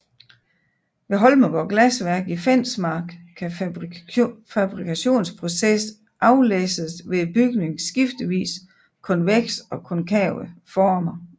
Ved Holmegaard Glasværk i Fensmark kan fabrikationsprocessen aflæses ved bygningens skiftevis konvekse og konkave former